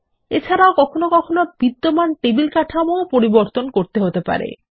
এবং কখনও কখনও বিদ্যমান টেবিল কাঠামোও পরিবর্তন করতে হতে পারে